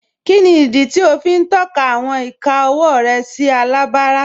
Kíni idí tí o fi n tọka awọn ìkà ọwọ rẹ sí alábárá?